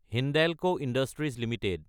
Hindalco industries Ltd